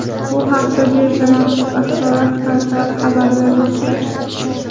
Bu haqda birja maxsus axborot portali xabar bermoqda .